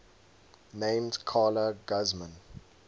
named carla guzman